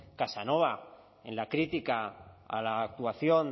casanova en la crítica a la actuación